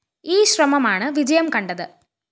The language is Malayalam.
ഈ ശ്രമമാണ് വിജയം കണ്ടത്